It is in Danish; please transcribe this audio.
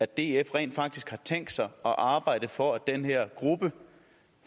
df rent faktisk har tænkt sig at arbejde for at den her gruppe